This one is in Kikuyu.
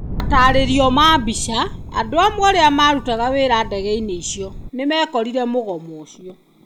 Mataarerio ma mbica. Andũ amwe arĩa marutaga wĩra ndege-inĩ icio nĩ mekorire mũgomo ũcio.